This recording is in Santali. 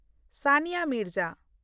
ᱥᱟᱱᱤᱭᱟ ᱢᱤᱨᱡᱟ